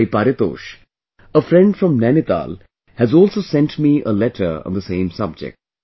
Bhai Paritosh, a friend from Nainital has also sent me a letter on the same subject